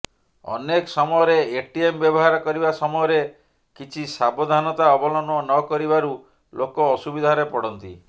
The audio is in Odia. ଅନେକ ସମୟରେ ଏଟିଏମ ବ୍ୟବହାର କରିବା ସମୟରେ କିଛି ସାବଧାନତା ଅବଲମ୍ବନ ନକରିବାରୁ ଲୋକ ଅସୁବିଧାରେ ପଡ଼ନ୍ତି